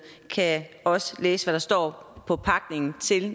også kan læse hvad der står på pakningen